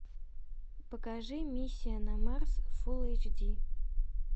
покажи миссия на марс фул эйч ди